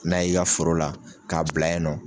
N'a y'i ka foro la k'a bila yen nɔ